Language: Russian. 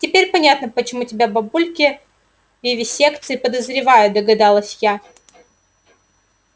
теперь понятно почему тебя бабульки в вивисекции подозревают догадалась я